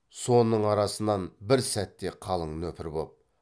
соның арасынан бір сәтте қалың нөпір боп